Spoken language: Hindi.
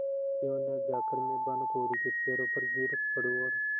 क्यों न जाकर मैं भानुकुँवरि के पैरों पर गिर पड़ूँ और